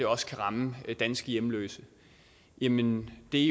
også kan ramme danske hjemløse jamen det